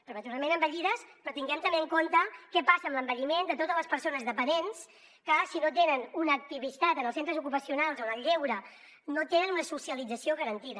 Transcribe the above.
prematurament envellides però tinguem també en compte què passa amb l’envelliment de totes les persones dependents que si no tenen una activitat en els centres ocupacionals o en el lleure no tenen una socialització garantida